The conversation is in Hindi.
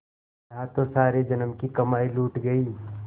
यहाँ तो सारे जन्म की कमाई लुट गयी